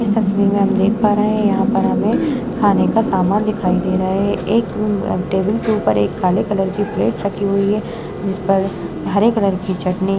इस तस्वीर में हम देख पा रहे है यहाँ पर हमें खाने का सामान दिखाई दे रहा है एक टेबल के ऊपर काले कलर की प्लेट रखी हुई है जिस पर हरे कलर की चटनी --